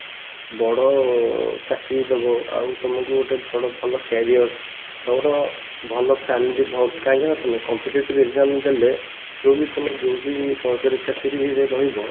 ବଡ ଚାକିରି ଦବ ଆଉ ତମକୁ ଗୋଟେ ବଡ ଭଲ career ତମର ଭଲ family କାହିଁକି ନା ତମେ competitive exam ଦେଲେ ଯଉ ବି ତମେ ଯଉ ବି ସରକାରିଆ ଚାକିରିରେ ରହିବ